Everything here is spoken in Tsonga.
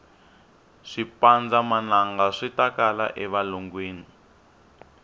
swipanndza manangaswitakala e valungwini